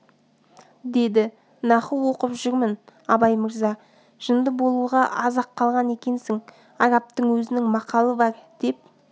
деді наху оқып жүрмін абай мырза жынды болуға аз-ақ қалған екенсің арабтың өзінің мақалы бар деп